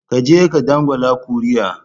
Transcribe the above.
Ka je ka dangwala kuri'a